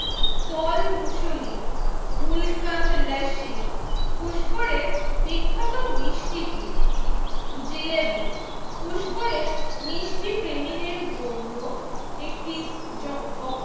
ফল মুসুলি গুলকান্ত লস্যি পুস্করের বিখ্যাত মিষ্টি কি? জিলেবী পুস্করের মিষ্টি প্রেমীদের জন্য একটি জন